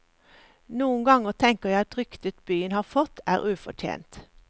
Noen ganger tenker jeg at ryktet byen har fått, er ufortjent.